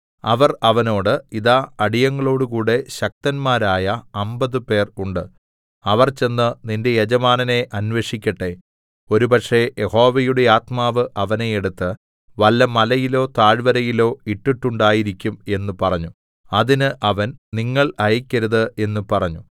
അവർ അവനോട് ഇതാ അടിയങ്ങളോടുകൂടെ ശക്തന്മാരായ അമ്പത് പേർ ഉണ്ട് അവർ ചെന്ന് നിന്റെ യജമാനനെ അന്വേഷിക്കട്ടെ ഒരുപക്ഷേ യഹോവയുടെ ആത്മാവ് അവനെ എടുത്ത് വല്ല മലയിലോ താഴ്വരയിലോ ഇട്ടിട്ടുണ്ടായിരിക്കും എന്ന് പറഞ്ഞു അതിന് അവൻ നിങ്ങൾ അയക്കരുത് എന്ന് പറഞ്ഞു